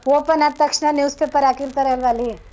Open ಆದ್ ತಕ್ಷ್ಣ news paper ಹಾಕಿರ್ತಾರೆ ಅಲ್ವಾ ಅಲ್ಲಿ.